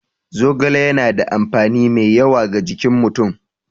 Zogale yana da amfani mai yawa ga jikin mutum.